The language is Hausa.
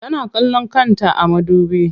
Tana kallon kanta a madubi.